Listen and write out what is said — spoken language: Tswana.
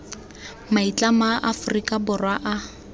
maitlamo a aforika borwa a